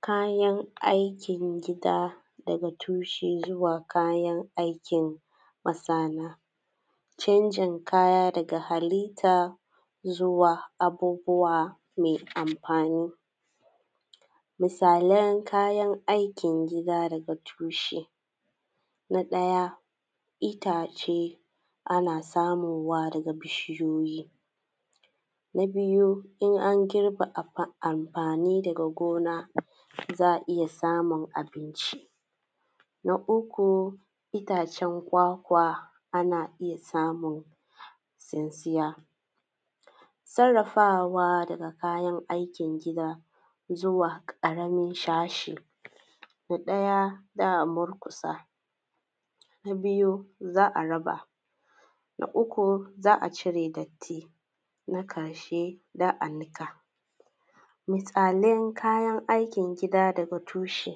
kayan aikin gida daga tushe zuwa kayan aikin masana, canjin kaya daga halita zuwa abubbuwa mai amfani misalan kayan aikin gida daga tushe: na ɗaya: itace ana samuwa daga bishiyoyi na biyu: idan an girbe amfani daga gona, za a iya samun abinci na uku: itacen kwakwa, ana iya samu tsuntsiya sarrafawa daga aikin gida zuwa ƙananan sashe: na ɗaya: za-a murkusa na biyu: za a raba na uku: za a cire datti na ƙashe: za a niƙa, misalan kayan aikin gida daga tushe: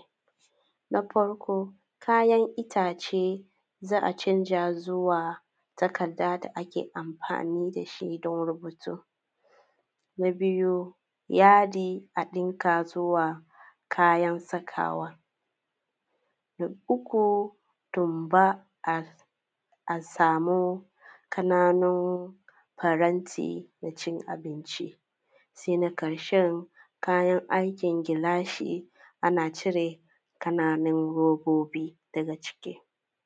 na farko: kayan itace za a canza su zuwa takadda da muke amfani da shi don rubutu na biyu: yadi a ɗinka zuwa kayan sakawa na uku: tumba a samu ƙananan faranti na cin abinci se na ƙarshe: kayan aikin gilashi za a cire ƙananan robbobi daga ciki